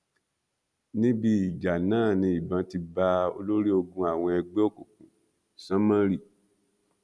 níbi ìjà náà ni ìbọn ti bá olórí ogun àwọn ẹgbẹ òkùnkùn sómórì